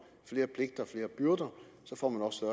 flere pligter flere byrder får man også